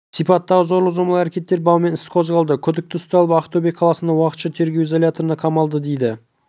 сипаттағы зорлық-зомбылық әрекеттері бабымен іс қозғалды күдікті ұсталып ақтөбе қаласындағы уақытша тергеу изоляторына қамалды дейді